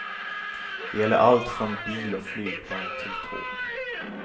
Det gäller allt från bil och flygplan till tåg.